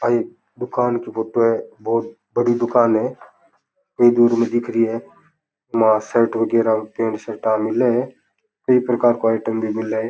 यह एक दुकान की फोटो है बहुत बड़ी दुकान है कई दूर में दिख री है इ मा शर्ट वगेरा पैंट शर्टा मिले है कई प्रकार को आइटम भी मिले है।